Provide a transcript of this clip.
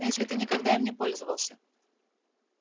но если ты никогда им не пользовался